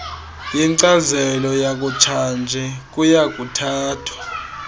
yenkcazelo yakutshanje kuyakuthathwa